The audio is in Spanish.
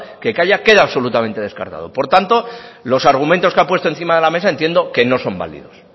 que kaiak queda absolutamente descartado por tanto los argumentos que ha puesto encima de la mesa entiendo que no son válidos